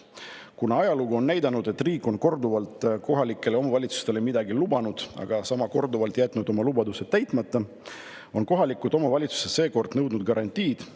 Kuna ajalugu on näidanud, et riik on korduvalt kohalikele omavalitsustele midagi lubanud, aga sama korduvalt jätnud oma lubadused täitmata, on kohalikud omavalitsused seekord nõudnud garantiid.